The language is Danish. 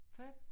Fedt